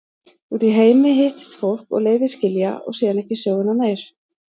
Úti í heimi hittist fólk og leiðir skilja og síðan ekki söguna meir.